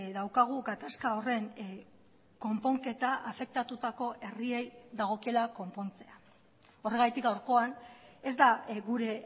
daukagu gatazka horren konponketa afektatutako herriei dagokiela konpontzea horregatik gaurkoan ez da gure